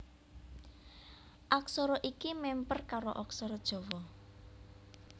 Aksara iki mèmper karo aksara Jawa